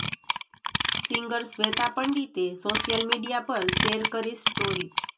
singer Shweta પંડિતે social media પર share કરી સ્ટોરી